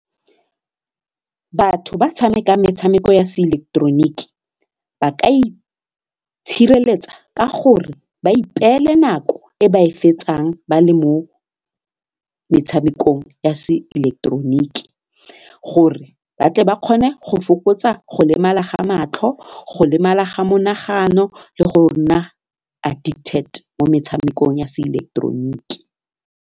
Batho ba tshamekang metshameko ya se ileketeroniki ba ka itshireletsa ka gore ba ipeele nako e ba e fetsang ba le mo metshamekong ya se ileketeroniki gore batle ba kgone go fokotsa go lemala ga matlho, go lemala ga monagano le go nna addicted mo metshamekong ya se ileketeroniki.